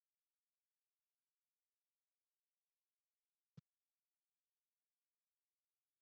En voru allir leikmenn liðsins svona útbúnir á æfingunni?